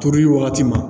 Turuli wagati ma